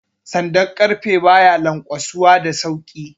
Sandan ƙarfe ba ya lanƙwasuwa da sauki